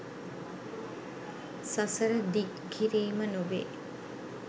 සසර දිග් කිරීම නොවේ.